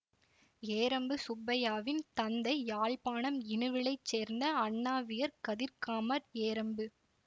ஏரம்பு சுப்பையாவின் தந்தை யாழ்ப்பாணம் இணுவிலைச் சேர்ந்த அண்ணாவியர் கதிர்காமர் ஏரம்பு